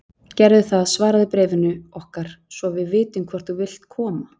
Gerðu það svaraðu bréfinu okkar svo við vitum hvort þú vilt koma.